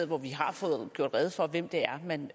hvor vi har fået gjort rede for hvem det er man